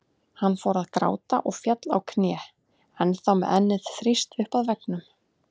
Hann fór að gráta og féll á kné, ennþá með ennið þrýst upp að veggnum.